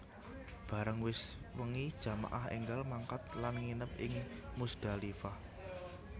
Bareng wis wengi jamaah énggal mangkat lan nginep ing Muzdalifah